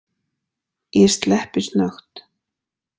Ég sleppi snöggt.